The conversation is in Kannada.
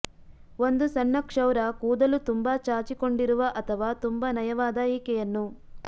ಒಂದು ಸಣ್ಣ ಕ್ಷೌರ ಕೂದಲು ತುಂಬಾ ಚಾಚಿಕೊಂಡಿರುವ ಅಥವಾ ತುಂಬಾ ನಯವಾದ ಈಕೆಯನ್ನು